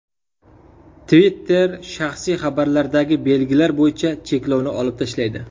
Twitter shaxsiy xabarlardagi belgilar bo‘yicha cheklovni olib tashlaydi.